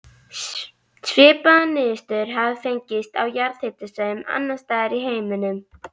Svipaðar niðurstöður hafa fengist á jarðhitasvæðum annars staðar í heiminum.